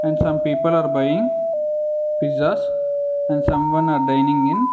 And some people are buying pizzas and someone are dining in.